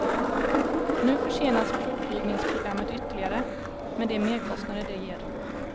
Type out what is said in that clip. Nu försenas provflygningsprogrammet ytterligare, med de merkostnader det ger.